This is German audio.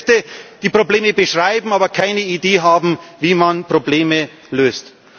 Das sind Kräfte, die Probleme beschreiben, aber keine Idee haben, wie man Probleme löst.